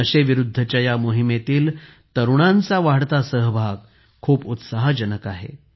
नशेविरुद्धच्या ह्या मोहिमेतील तरुणांचा वाढता सहभाग खूप उत्साहजनक आहे